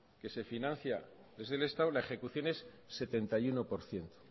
que se financia desde el estado la ejecución es setenta y uno por ciento